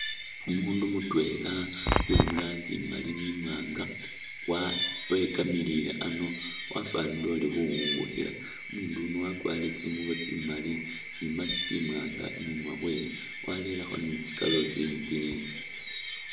Umuundu mutwela uli mu rangi imali ni imwaanga wa wekamilile ano wafwanile uli khuwungikhila. Umuundu yuno wakwarire tsingubo tsimali ni i'mask imwaanga khu munwa khwe warerekho ni tsi galubindi.